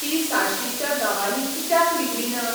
ती साश्टीच्या गांवांनी कित्याक रिगलीना?